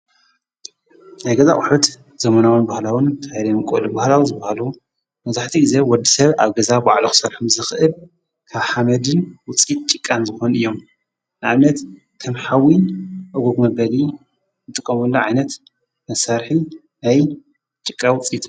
ኣገዛ ዉሑት ዘመናዋን በሃላዉን ካይለየምቆል ባህላዉን ዝብሃሉ ነዙሕቲ ጊዜ ወዲ ሰብ ኣብ ገዛ ባዓልኽሠርኁም ዝኽእብ ካብ ሓመድን ውፂት ጭቃን ዝኾን እዮም ኣምነት ከም ሓዊን እጕጕሚበሊ እጥቆምሉ ዓነት መሣርሒ ኣይ ጭቃ ዊፂጥ እዩ።